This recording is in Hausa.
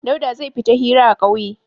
Dauda zai fita hira a ƙauye.